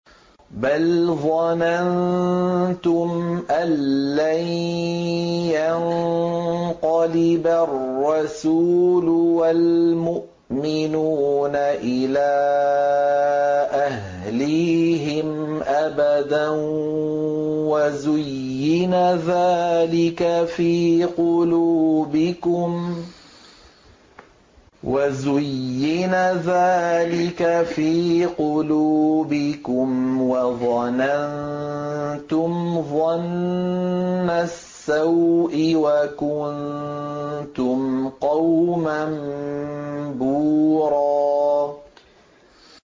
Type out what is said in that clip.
بَلْ ظَنَنتُمْ أَن لَّن يَنقَلِبَ الرَّسُولُ وَالْمُؤْمِنُونَ إِلَىٰ أَهْلِيهِمْ أَبَدًا وَزُيِّنَ ذَٰلِكَ فِي قُلُوبِكُمْ وَظَنَنتُمْ ظَنَّ السَّوْءِ وَكُنتُمْ قَوْمًا بُورًا